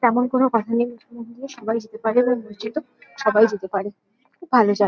তেমন কোনো কথা নেই মন্দিরে সবাই যেতে পারে এবং মসজিদেও সবাই যেতে পারে। খুব ভালো জায়--